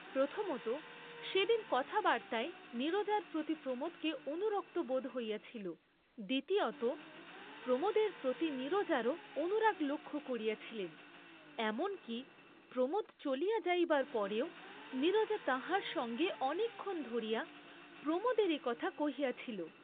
প্রথমতঃ সেদিন কথাবার্ত্তায় নীরজার প্রতি প্রমোদকে অনুরক্ত বোধ হইয়াছিল; দ্বিতীয়তঃ প্রমোদের প্রতি নীরজারও অনুরাগ লক্ষ্য করিয়াছিলেন, এমন কি, প্রমোদ চলিয়া যাইবার পরেও নীরজা তাঁহার সঙ্গে অনেকক্ষণ ধরিয়া প্রমোদেরই কথা কহিয়াছিল।